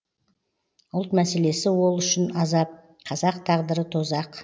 ұлт мәселесі ол үшін азап қазақ тағдыры тозақ